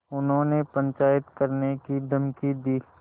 उन्होंने पंचायत करने की धमकी दी